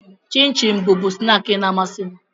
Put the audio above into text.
Chịm chịm bụbu snaakị na-amasị m.